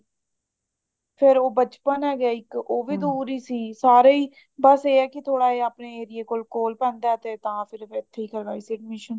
ਫੇਰ ਉਹ ਬਚਪਨ ਹੈਗਾ ਇੱਕ ਉਹ ਵੀ ਦੂਰ ਹੀ ਸੀ ਸਾਰੇ ਹੀ ਬਸ ਇਹ ਹੈ ਕੀ ਥੋੜਾ ਜਾ ਆਪਣੇ ਏਰੀਏ ਕੋਲ ਕੋਲ ਪੈਂਦਾ ਤੇ ਤਾਂ ਫੇਰ ਮੈਂ ਇੱਥੇ ਹੀ ਕਰਵਾਈ ਸੀ admission